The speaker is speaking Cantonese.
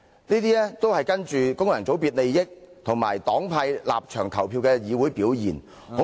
這種跟循功能界別利益和黨派立場投票的議會表現，恐怕......